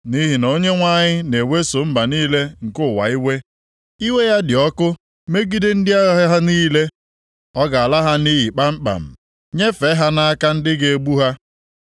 Nʼihi na Onyenwe anyị na-eweso mba niile nke ụwa iwe, iwe ya dị ọkụ megide ndị agha ha niile. Ọ ga-ala ha nʼiyi kpamkpam, nyefee ha nʼaka ndị ga-egbu ha.